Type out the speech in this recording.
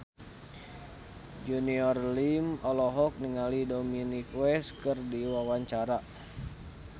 Junior Liem olohok ningali Dominic West keur diwawancara